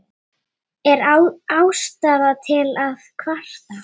Er ástæða til að kvarta?